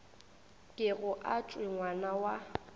kego a tšwe ngwana wa